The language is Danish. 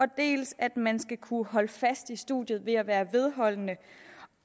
dels at man skal kunne holde fast i studiet ved at være vedholdende